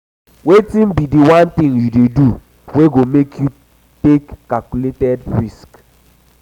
wetin be di one thing you dey do wey go make you take calculated risks?